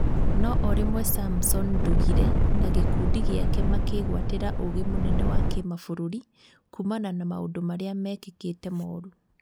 No orĩmwe Samson Ndugire na gĩkundi gĩake makĩgwatĩra ũgĩ mũnene wa kĩmabũrũri kumana na maũndũ marĩa mekĩkĩte moru